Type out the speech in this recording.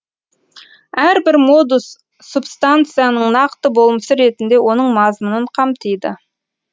әрбір модус субстанцияның нақты болмысы ретінде оның мазмұнын қамтиды